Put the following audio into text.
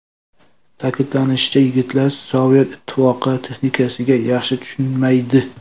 Ta’kidlanishicha, yigitlar Sovet Ittifoqi texnikasiga yaxshi tushunmaydi.